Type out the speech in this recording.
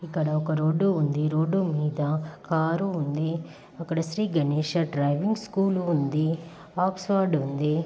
ఇక్కడ రోడ్ ఉంది మీద ఒక కారు ఉందిఇక్కడ శ్రీ గణేష్ డ్రైవింగ్ స్కూల్ ఉంది ఆక్స్ఫర్డ్ ఉంది.